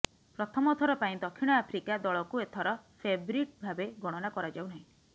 ପ୍ରଥମଥର ପାଇଁ ଦକ୍ଷିଣ ଆଫ୍ରିକା ଦଳକୁ ଏଥର ଫେଭରିଟ୍ ଭାବେ ଗଣନା କରା ଯାଉନାହିଁ